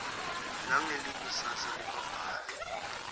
nangelikusasa lebabhali